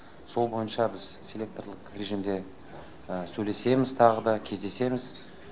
сол бойынша біз селекторлық режимде сөйлесеміз тағы да кездесеміз